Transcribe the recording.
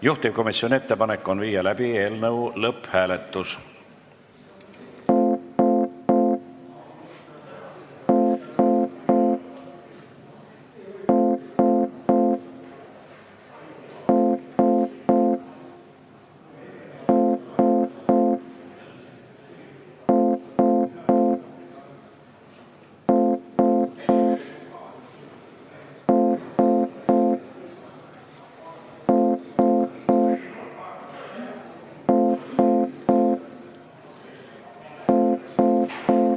Juhtivkomisjoni ettepanek on läbi viia eelnõu lõpphääletus.